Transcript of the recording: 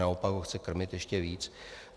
Naopak ho chce krmit ještě víc.